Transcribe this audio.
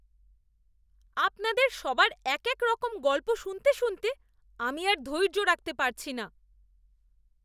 আপনাদের সবার এক এক রকম গল্প শুনতে শুনতে আমি আর ধৈর্য রাখতে পারছি না।